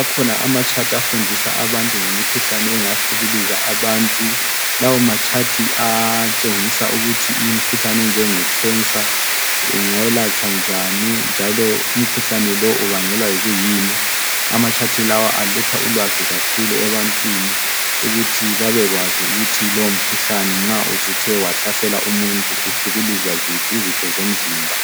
Akhona ama chart afundisa abantu ngemikhuhlane engahlukuluza abantu. Lawo ma chart ayatshengisa ukuthi imkhuhlane enjenge cancer ingelatshwa njani njalo umkhuhlane lo ubangelwa yikuyini. Ama chart lawa aletha ulwazi kakhulu ebantwaneni ukuthi babekwazi ukuthi lowo mkhuhlane nxa usuthe wahlasela umuntu uhlukuluza ziphi izitho zomzimba